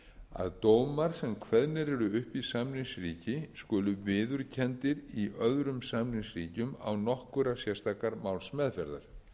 að dómar sem kveðnir eru upp í samningsríki skulu viðurkenndir í öðrum samningsríkjum án nokkurrar sérstakrar málsmeðferðar